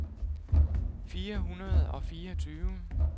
fire hundrede og fireogtyve